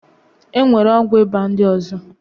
E nwere ọgwụ ịba ndị ọzọ.